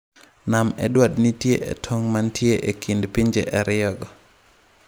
Nam Edward nitie e tong’ mantie e kind pinje ariyogo.